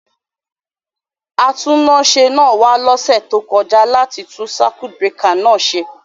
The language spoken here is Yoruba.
Atúnáṣe náà wa lósẹ̀ to kojá láti tun circuit breaker náà se